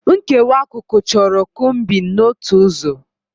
Nkewa akụkụ chọrọ combing n'otu ụzọ.